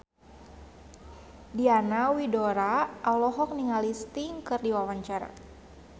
Diana Widoera olohok ningali Sting keur diwawancara